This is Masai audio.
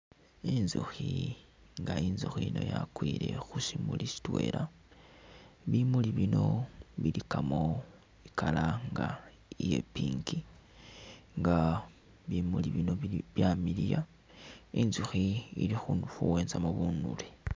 Intsukhi nga intsukhi yiino yakwile khusimuli sitwela bimuli bino bilikamo i'colour nga iya' pink nga bimuli bino bili byamiliya intsukhi ili khuwenzamo bunule